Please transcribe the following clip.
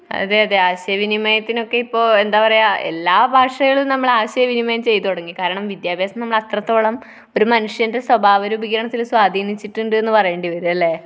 അതെയതെ. ആശയ വിനിമയത്തിനൊക്കെ ഇപ്പൊ, എന്താ പറയുക? എല്ലാ ഭാഷയിലും നമ്മൾ ആശയവിനിമയം ചെയ്തു തുടങ്ങി. കാരണം വിദ്യാഭ്യാസം നമ്മൾ അത്രത്തോളം ഒരു മനുഷ്യന്റെ സ്വഭാവ രൂപീകരണത്തിൽ സ്വാധീനിച്ചിട്ടുണ്ട് എന്ന് പറയേണ്ടി വരും. അല്ലെ?